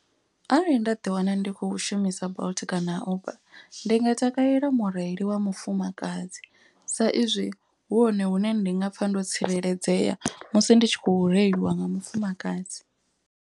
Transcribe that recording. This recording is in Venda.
Arali nda ḓi wana ndi kho shumisa bolt kana uber ndi nga takalela mureili wa mufumakadzi. Sa izwi hu hone hune ndi nga pfa ndo tsireledzea musi ndi tshi khou reiliwa nga mufumakadzi.